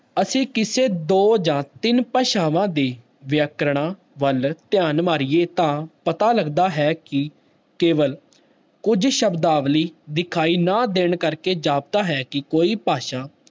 ਅਸੀਂ ਕਿਸੇ ਦੋ ਜਾਂ ਤਿੰਨ ਭਾਸ਼ਾਵਾਂ ਦੇ ਵਿਆਕਰਨਾਂ ਵੱਲ ਧਿਆਨ ਮਾਰੀਏ ਤਾਂ ਪਤਾ ਲੱਗਦਾ ਹੈ ਕਿ ਕੇਵਲ ਕੁੱਝ ਸ਼ਬਦਾਵਲੀ ਦਿਖਾਈ ਨਾ ਦੇਣ ਕਰਕੇ ਜਾਪਦਾ ਹੈ ਕਿ ਕੋਈ ਭਾਸ਼ਾ